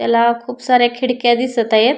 त्याला खूप साऱ्या खिडक्या दिसतायत.